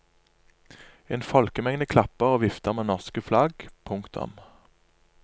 En folkemengde klapper og vifter med norske flagg. punktum